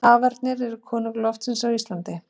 Hafernir eru konungar loftsins á Íslandi.